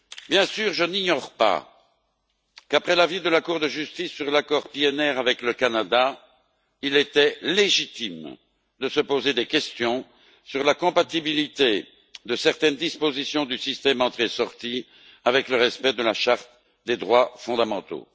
Bien sûr, je n'ignore pas qu'après l'avis de la Cour de justice sur l'accord PNR avec le Canada, il était légitime de se poser des questions sur la compatibilité de certaines dispositions du système d'entrée sortie avec le respect de la charte des droits fondamentaux.